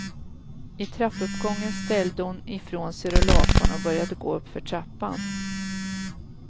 I trappuppgången ställde hon i från sig rullatorn och började gå uppför trappan.